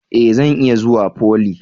E! Zan iya zuwa foly.